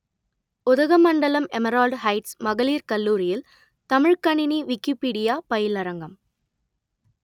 Udhagamandalam emerald heights மகளிர் கல்லூரியில் தமிழ்க்கணினி விக்கிப்பீடியா பயிலரங்கம்